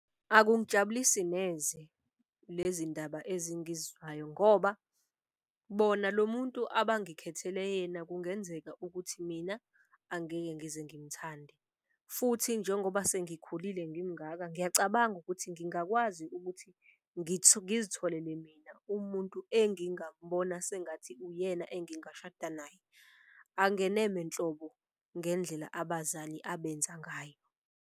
Akungijabulisi neze lezi ndaba ngoba bona lo muntu abangikhethele yena kungenzeka ukuthi mina angeke ngize ngimthande. Futhi njengoba sengikhulile ngimungaka ngiyacabanga ukuthi ngingakwazi ukuthi ngizitholele mina umuntu engingamubona sengathi uyena engingashada naye. Angeneme nhlobo ngendlela abazali abenza ngayo.